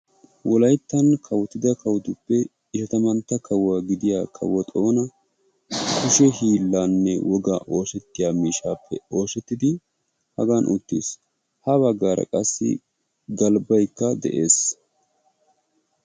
wolayttan kawottida kawottuppe ishatamantta kawo gidiya kawo xooni kushe hiilanne wogan oossettiya miishshaappe oosetti Hagan uttiis. ha bagaara qassi galbbay uttiis.